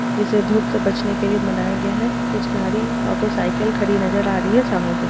इसे धूप से बचने के लिए बनाया गया है। कुछ गाड़ी और कुछ साइकिल खड़ी नजर आ रही है। सामने से --